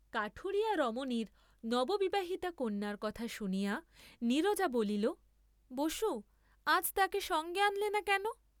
কাঠুরিয়া রমণীর নববিবাহিতা কন্যার কথা শুনিয়া নীরজা বলিল বসু, আজ তাকে সঙ্গে আনলে না কেন?